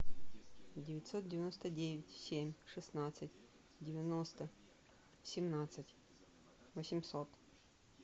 девятьсот девяносто девять семь шестнадцать девяносто семнадцать восемьсот